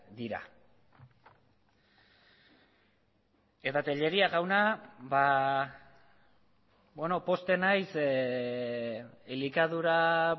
dira eta tellería jauna pozten naiz elikadura